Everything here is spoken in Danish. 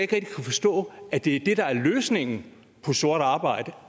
kan forstå at det der er løsningen på sort arbejde